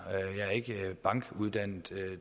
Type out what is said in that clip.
jeg er ikke bankuddannet